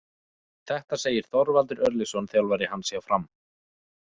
Þetta segir Þorvaldur Örlygsson, þjálfari hans hjá Fram.